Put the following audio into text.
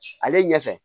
Ale ɲɛfɛ